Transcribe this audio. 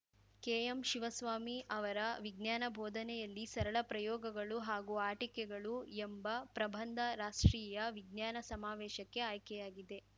ಕೆಎಂಶಿವಸ್ವಾಮಿ ಅವರ ವಿಜ್ಞಾನ ಬೋಧನೆಯಲ್ಲಿ ಸರಳ ಪ್ರಯೋಗಗಳು ಹಾಗೂ ಆಟಿಕೆಗಳು ಎಂಬ ಪ್ರಬಂಧ ರಾಷ್ಟ್ರೀಯ ವಿಜ್ಞಾನ ಸಮಾವೇಶಕ್ಕೆ ಆಯ್ಕೆಯಾಗಿದೆ